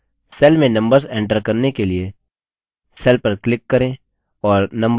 cell में numbers enter करने के लिए cell पर click करें और numbers type करें